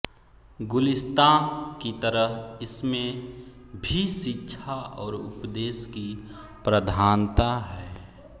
गुलिस्ताँ की तरह इसमें भी शिक्षा और उपदेश की प्रधानता है